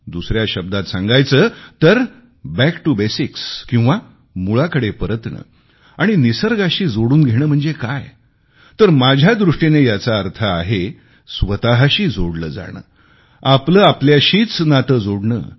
दुसऱ्या शब्दांत सांगायचे तर बॅक टीओ बेसिक्स किंवा मूळाकडे परतणे आणि निसर्गाशी जोडून घेणे म्हणजे काय तर माझ्या दृष्टीने याचा अर्थ आहे स्वतशी जोडले जाणे आपले आपल्याशीच नाते जोडणे